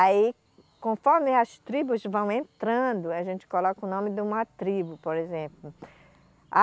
Aí, conforme as tribos vão entrando, a gente coloca o nome de uma tribo, por exemplo. A